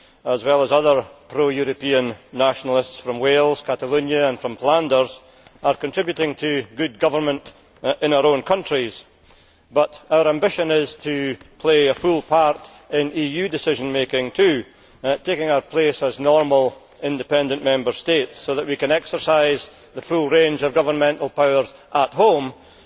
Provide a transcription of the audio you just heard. as well as other pro European nationalists from Wales, Catalonia and Flanders, are contributing to good government in our own countries, but our ambition is to play a full part in EU decision making too, taking our place as normal independent Member States so that we can exercise the full range of governmental powers at home and